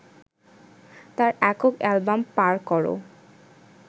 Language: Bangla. তার একক অ্যালবাম পার করো